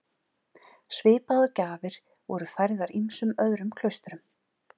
Svipaðar gjafir voru færðar ýmsum öðrum klaustrum.